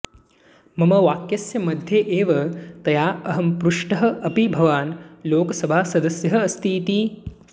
मम वाक्यस्य मध्ये एव तया अहं पृष्टः अपि भवान् लोकसभासदस्यः अस्ति इति